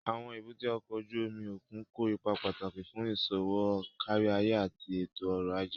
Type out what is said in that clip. Àwọn èbúté ọkọ̀ ojú omi òkun kó ipa pàtàkì fún iṣowo káríayé àti ètò ọ̀rọ̀ ajé